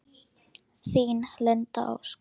Þín, Linda Ósk.